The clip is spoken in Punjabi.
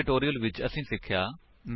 ਇਸ ਟਿਊਟੋਰਿਅਲ ਵਿੱਚ ਅਸੀਂ ਸਿੱਖਿਆ